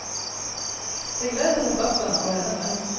Det gläder författarna, och även mig.